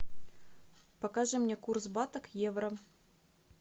покажи мне курс бата к евро